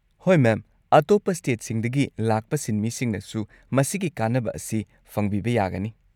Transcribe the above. ꯍꯣꯏ ꯃꯦꯝ, ꯑꯇꯣꯞꯄ ꯁ꯭ꯇꯦꯠꯁꯤꯡꯗꯒꯤ ꯂꯥꯛꯄ ꯁꯤꯟꯃꯤꯁꯤꯡꯅꯁꯨ ꯃꯁꯤꯒꯤ ꯀꯥꯟꯅꯕ ꯑꯁꯤ ꯐꯪꯕꯤꯕ ꯌꯥꯒꯅꯤ꯫